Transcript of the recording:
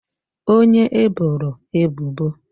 onye e boro ebubo